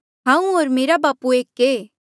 हांऊँ होर मेरा बापू एक ऐें